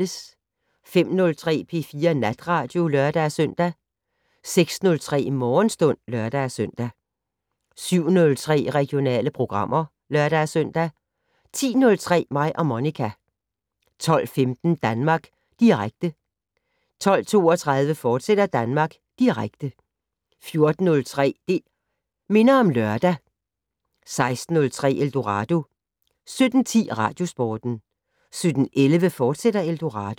05:03: P4 Natradio (lør-søn) 06:03: Morgenstund (lør-søn) 07:03: Regionale programmer (lør-søn) 10:03: Mig og Monica 12:15: Danmark Direkte 12:32: Danmark Direkte, fortsat 14:03: Det' Minder om Lørdag 16:03: Eldorado 17:10: Radiosporten 17:11: Eldorado, fortsat